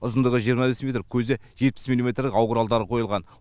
ұзындығы жиырма бес метр көзі жетпіс миллиметрлік ау құралдары қойылған